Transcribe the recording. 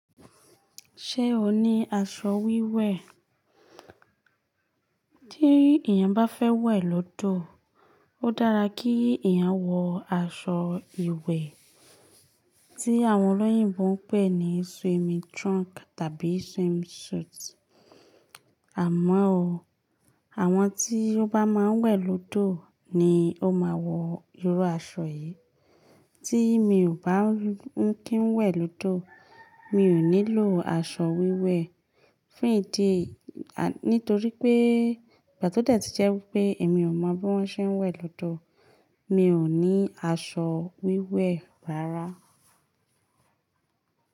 Ṣé o ní aṣọ wíwẹ̀? Tí èèyàn bá fẹ́ wẹ̀ lódò, ó dára kí èèyàn wọ aṣọ ìwẹ̀ tí àwọn olóyìnbo ń pè ní swimming trunk tàbí swimming suit. Àmọ́ o, àwọn tí ó bá máa ń wẹ̀ lódò ni ó máa wọ irú aṣọ yìí. Tí mi ò bá ń kí ń wẹ̀ lódò, mi ò nílò aṣọ wíwẹ̀. Fún ìdí, à, nítorí pé ìgbà tí ó tẹ́ ti jẹ́ wípé èmi ò mọ bí wón ṣe ń wẹ̀ lódò, mi ò ní aṣọ wíwẹ̀ rárá.